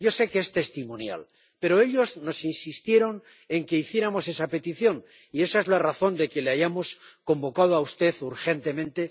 Yo sé que es testimonial, pero ellos nos insistieron en que hiciéramos esa petición, y esa es la razón de que le hayamos convocado a usted urgentemente.